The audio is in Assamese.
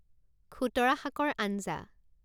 খুতৰা শাকৰ আঞ্জা